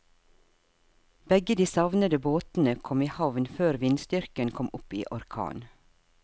Begge de savnede båtene kom i havn før vindstyrken kom opp i orkan.